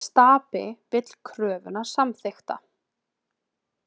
Stapi vill kröfuna samþykkta